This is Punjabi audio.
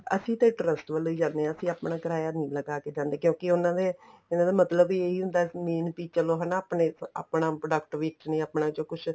ਅਸੀਂ ਤੇ trust ਵੱਲੋ ਜਾਂਦੇ ਆ ਅਸੀਂ ਆਪਣਾ ਕਿਰਾਇਆ ਨਹੀਂ ਲਗਾ ਕੇ ਜਾਂਦੇ ਕਿਉਂਕਿ ਉਹਨਾ ਨੇ ਇਹਨਾ ਦਾ ਮਤਲਬ ਹੀ ਏਹੀ ਹੁੰਦਾ main ਵੀ ਚਲੋ ਹਨਾ ਆਪਣੇ ਆਪਣਾ product ਵੇਚਣੇ ਆਪਣੇ ਚੋ ਕੁੱਛ